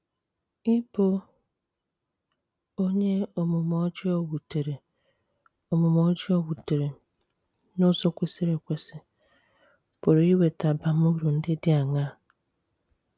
Ịbụ onye omume ọjọọ wutere omume ọjọọ wutere n’ụzọ kwesịrị ekwesị pụrụ iweta abamuru ndị dị aṅaa?